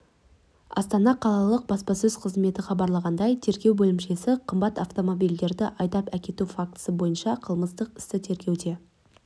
астана қалалық баспасөз қызметі хабарлағандай тергеу бөлімшесі қымбат автомобильдерді айдап әкету фактісі бойынша қылмыстық істі тергеуде